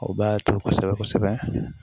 O b'a to kosɛbɛ kosɛbɛ